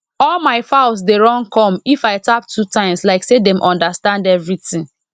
all my fowls dey run come if i tap two times like say dem understand everything